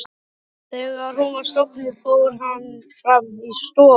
Þegar hún var sofnuð fór hann fram í stofu.